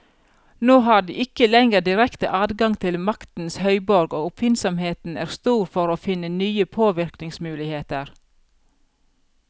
Nå har de ikke lenger direkte adgang til maktens høyborg, og oppfinnsomheten er stor for å finne nye påvirkningsmuligheter.